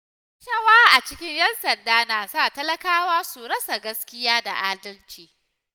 Rashawa a cikin ‘yan sanda na sa talakawa su rasa gaskiya da adalci.